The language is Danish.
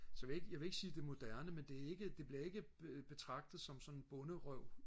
så jeg vil ikke jeg vil ikke sige det er moderne men det er ikke det bliver ikke betragtet som sådan bonderøv